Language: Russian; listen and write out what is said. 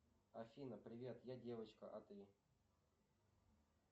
афина привет я девочка а ты